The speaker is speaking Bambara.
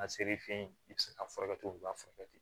A seri feyi i bi se ka furakɛli